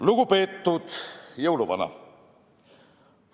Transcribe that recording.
Lugupeetud jõuluvana!